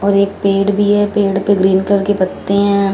और एक पेड़ भी है पेड़ पे ग्रीन कलर के पत्ते हैं।